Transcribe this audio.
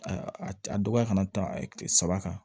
a dɔgɔya ka na ta kile saba kan